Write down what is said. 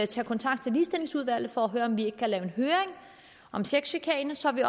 tage kontakt til ligestillingsudvalget for at høre om vi ikke kan lave en høring om sexchikane så vi